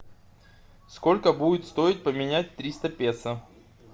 сколько будет стоить поменять триста песо